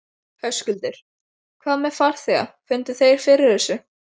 Höskuldur: Hvað með farþega, fundu þeir fyrir þessu?